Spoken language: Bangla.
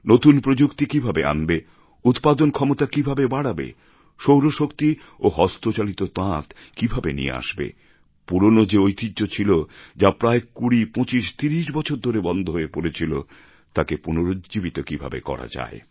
নতুন প্রযুক্তি কীভাবে আনবে উৎপাদনক্ষমতা কীভাবে বাড়াবে সৌরশক্তি ও হস্তচালিত তাঁত কীভাবে নিয়ে আসবে পুরনো যে ঐতিহ্য ছিল যা প্রায় ২০ ২৫ ৩০ বছর ধরে বন্ধ হয়ে পড়েছিল তাকে পুনর্জীবিত কীভাবে করা যায়